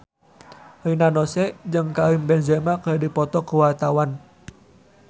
Rina Nose jeung Karim Benzema keur dipoto ku wartawan